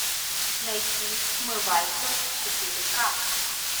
найти смывайся четыре к